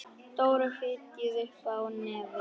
Dóra fitjaði upp á nefið.